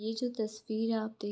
ये जो तस्वीर है आप देख --